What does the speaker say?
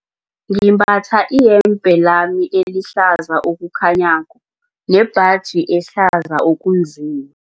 Ngimbatha iyembe lami elihlaza okukhanyako nembaji ehlaza okunzima.